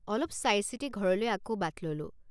অলপ চাইচিতি ঘৰলৈ আকৌ বাট ললোঁ।